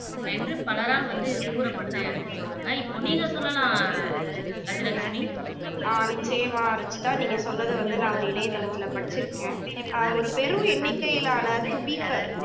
என்று பலரால் வந்து கூறப்படுது அப்படின்னு சொல்றாங்க. இப்போ நீங்க சொல்லலாம் கஜலட்சுமி